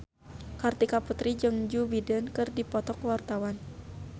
Kartika Putri jeung Joe Biden keur dipoto ku wartawan